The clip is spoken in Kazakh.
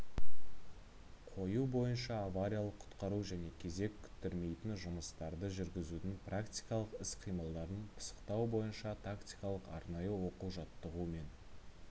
қою бойынша авариялық-құтқару және кезек күттірмейтін жұмыстарды жүргізудің практикалық іс-қимылдарын пысықтау бойынша тактикалық-арнайы оқу-жаттығу мен